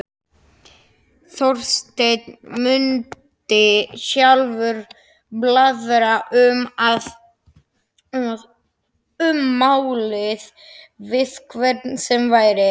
Þorsteinn mundi sjálfur blaðra um málið við hvern sem væri.